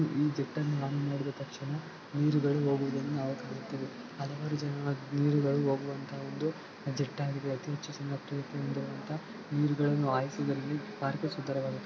ಈ ಚಿತ್ರವನ್ನು ನಾವು ನೋಡಿದ ತಕ್ಷಣ ನೀರುಗಳು ಹೋಗುವುದನ್ನು ನಾವು ಕಾಣುತ್ತೇವೆ ಹಲವಾರು ಜನ ಎಲ್ಲಿ ಹೋಗುವಂತ ಒಂದು ಜೆಟ್ಟು ಆಗಿದೆ ಅತಿ ಹೆಚ್ಚು ಜನ ಪ್ರೀತಿಯಿಂದ ನೀರು ಹಾಯಿಸುವುದನ್ನು ಸುಂದರವಾಗಿದೆ.